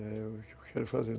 É, o que eu quero fazer.